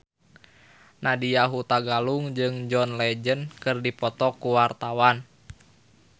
Nadya Hutagalung jeung John Legend keur dipoto ku wartawan